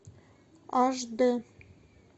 аш д